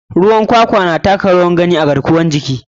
Ruwan kwakwan na taka rawar gani sosai a ɓangare garkuwar jiki.